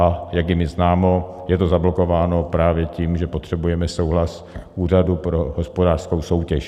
A jak je mi známo, je to zablokováno právě tím, že potřebujeme souhlas Úřadu pro hospodářskou soutěž.